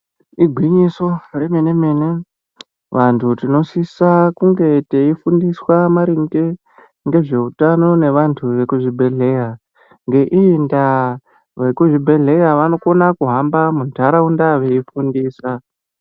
Igwinyiso remene mene vantu tinosisa kunge teifundiswa maringe ngezveutano nevantu vekuzvibhedhera ngeiyi ndaa vekuzvibhedhera vanokonapo kuhamba muntaraunda veifundisa.